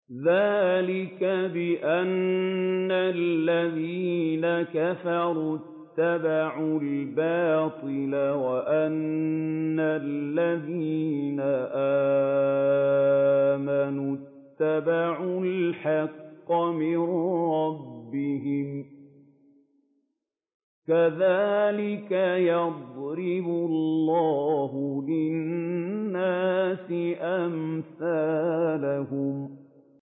ذَٰلِكَ بِأَنَّ الَّذِينَ كَفَرُوا اتَّبَعُوا الْبَاطِلَ وَأَنَّ الَّذِينَ آمَنُوا اتَّبَعُوا الْحَقَّ مِن رَّبِّهِمْ ۚ كَذَٰلِكَ يَضْرِبُ اللَّهُ لِلنَّاسِ أَمْثَالَهُمْ